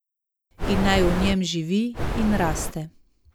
In naj v njem živi in raste.